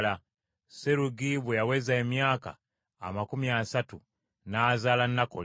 Serugi bwe yaweza emyaka amakumi asatu n’azaala Nakoli,